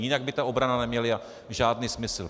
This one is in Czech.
Jinak by ta obrana neměla žádný smysl.